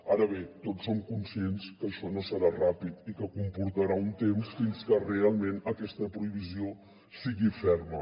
ara bé tots som conscients que això no serà ràpid i que comportarà un temps fins que realment aquesta prohibició sigui ferma